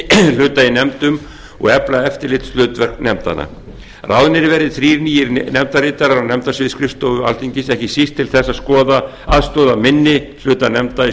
hluta í nefndum og efla eftirlitshlutverk nefndanna ráðnir verði þrír nýir nefndarritarar á nefndasvið skrifstofu alþingis ekki síst til þess að aðstoða minni hluta nefnda í